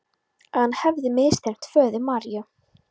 Að hann hefði misþyrmt föður Maríu.